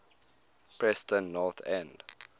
preston north end